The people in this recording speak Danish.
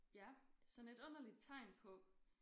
Ja sådan et underligt tegn på